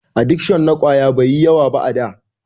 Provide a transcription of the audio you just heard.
Adikshon na ƙwayoyi bai yi yawa ba a da.